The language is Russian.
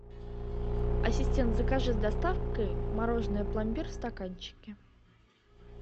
ассистент закажи с доставкой мороженое пломбир в стаканчике